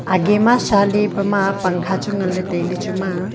age ma sha le pema pangkha chu ngan le taile chuma.